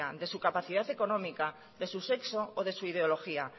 de su capacidad económica de su sexo o de su ideología